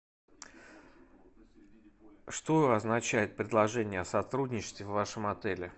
что означает предложение о сотрудничестве в вашем отеле